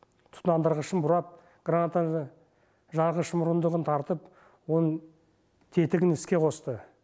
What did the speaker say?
тұтандырғышын бұрап гранатаның жарғыш мұрындығын тартып оның тетігін іске қосты